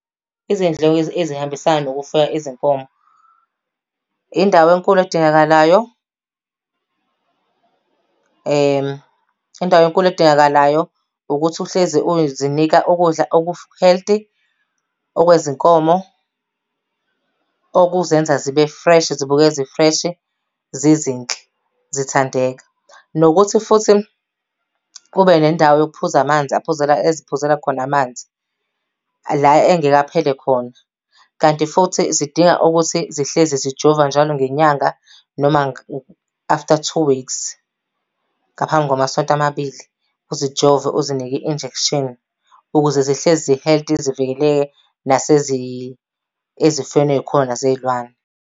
Izindleko ezihambisana nokufuya izinkomo. Indawo enkulu edingakalayo, indawo enkulu edingakalayo, ukuthi uhlezi ukuzinika ukudla oku-healthy okwezinkomo okuzenza zibe-fresh, zibukeke zi-fresh, zizinhle, zithandeka. Nokuthi futhi kube nendawo yokuphuza amanzi aphuzela eziphuzela khona amanzi, la angeke aphele khona. Kanti futhi zidinga ukuthi zihlezi zijovwa njalo ngenyanga noma after two weeks. Ngaphambi kwamasonto amabili, uzijove uzinike i-injection ukuze zihlezi zi-healthy zivikeleke ezifweni ey'khona zey'lwane.